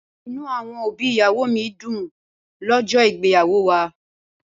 Inú àwọn òbí ìyàwó mi dùn lọ́jọ́ ìgbéyàwó wa.